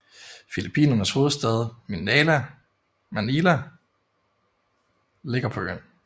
Filippinernes hovedstad Manila ligger på øen